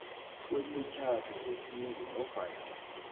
kwemitjhado yesintu nofana